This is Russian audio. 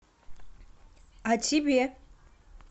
а тебе